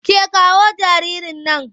Ke kawo jaririn nan!